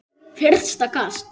Fyrsta kast